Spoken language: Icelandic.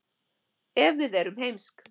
ef við erum heimsk